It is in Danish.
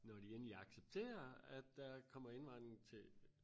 når de endelig accepterer at der kommer indvandrere til